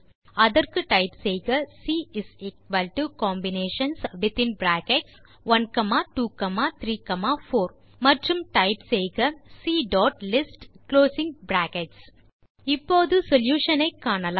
அதற்கு டைப் செய்க C Combinations1234 மற்றும் டைப் செய்க சி டாட் list இப்போது சொல்யூஷன் ஐ காணலாம்